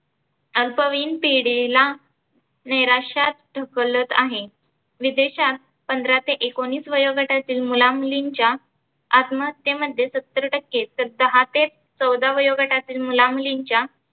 अल्पवयीन पिढीला नैराश्यात ढकलत आहे. विदेशात पंधरा ते एकोनीस वयोगटातील मुला मुलींच्या आत्महत्येमध्ये सत्तर टक्के दहा ते चौदा वयोगटातील मुला मुलींच्या